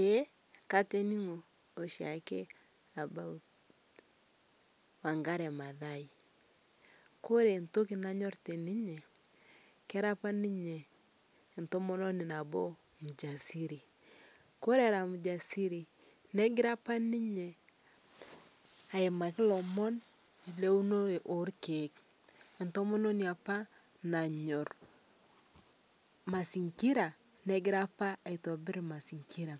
ee katining'oo shaake about Wangare Mathai, kore ntoki nanyor teninye kera apa ninye entomononi nabo mjasiri kore era mjasiri negira apa ninye aimakii lomon leunoree elkeek, entomononii apaa nanyor masingira negira apaa aitobir mazingira